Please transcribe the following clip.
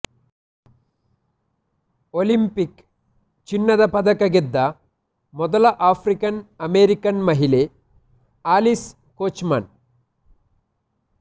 Olympic ಚಿನ್ನದ ಪದಕ ಗೆದ್ದ ಮೊದಲ ಆಫ್ರಿಕನ್ ಅಮೆರಿಕನ್ ಮಹಿಳೆ ಆಲಿಸ್ ಕೋಚ್ಮನ್